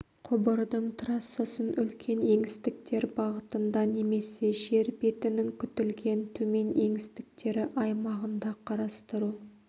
құбырдың трассасын үлкен еңістіктер бағытында немесе жер бетінің күтілген төмен еңістіктері аймағында қарастыру